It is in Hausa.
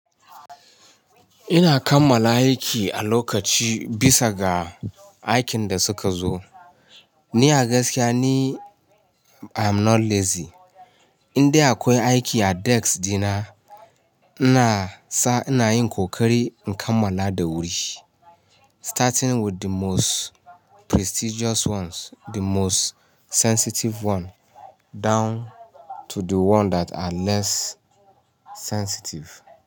Ina kammala aiki a lokaci bisa ga aikin da suka zo. Ni a gaskiya ne I'm not lazy. Inda akwai aiki a desk dina, ina sa ina yin ƙoƙari in kammala da wuri. Starting with the most prestigious ones, the most sensitive one down to the one that are less sensitive.